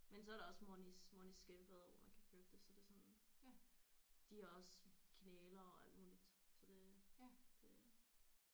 Men så er der også Monis Monis skildpadder hvor man kan købe det så det er sådan de har også knælere og alt muligt så det det